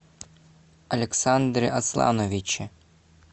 александре аслановиче